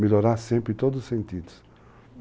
Melhorar sempre em todos os sentidos.